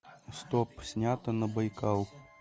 стоп снято на байкал